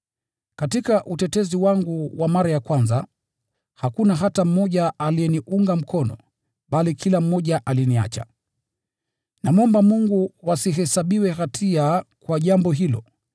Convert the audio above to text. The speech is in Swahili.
Katika utetezi wangu wa mara ya kwanza, hakuna hata mmoja aliyeniunga mkono, bali kila mmoja aliniacha. Namwomba Mungu wasihesabiwe hatia kwa jambo hilo.